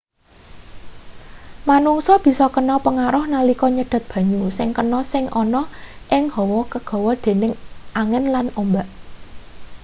menungsa bisa kena pengaruh nalika nyedot banyu sing kena sing ana ing hawa kegawa dening angin lan ombak